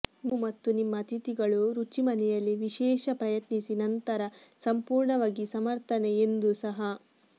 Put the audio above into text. ನೀವು ಮತ್ತು ನಿಮ್ಮ ಅತಿಥಿಗಳು ರುಚಿ ಮನೆಯಲ್ಲಿ ವಿಶೇಷ ಪ್ರಯತ್ನಿಸಿ ನಂತರ ಸಂಪೂರ್ಣವಾಗಿ ಸಮರ್ಥನೆ ಎಂದು ಸಹ